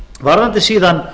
varðandi síðan